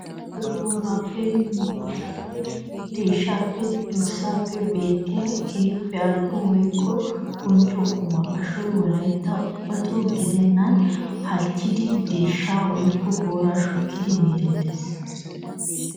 Ashoy boorappe, miizzeppe, deeshshappenne dorssappe beettiya keehippe ali'o woykko bonchcho qumma. Ashuwa wolayttan ubbato gidennan halchchidi deeshsha woykko boora shukkidi meettes.